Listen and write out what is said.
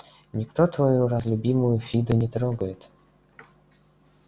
никто твою разлюбимую фиду не трогает